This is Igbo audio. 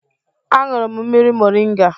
Aṅụrụ m mmiri moringa